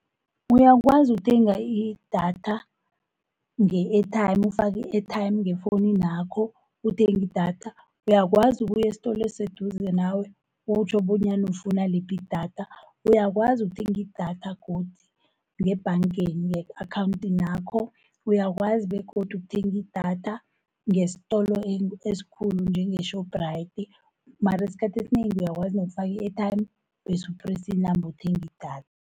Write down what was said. Uyakwazi ukuthenga idatha nge-airtime, ufaki-airtime ngefowuninakho uthengi idatha. Uyakwazi ukuya esitolo esiseduze nawe, utjho bonyana ufuna liphi idatha. Uyakwazi ukuthenga idatha godi ngebhangeni, nge-akhawuntinakho, uyakwazi begodu ukuthenga idatha ngesitolo esikhulu njenge-Shoprite. Mara isikhathi esinengi uyakwazi nokufaka i-airtime bese u-press inamba uthenge idatha.